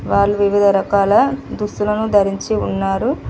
వాళ్లు వివిధ రకాల దుస్తులను ధరించి ఉన్నారు.